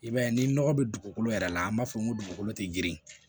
I b'a ye ni nɔgɔ be dugukolo yɛrɛ la an b'a fɔ n ko dugukolo te girin